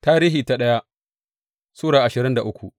daya Tarihi Sura ashirin da uku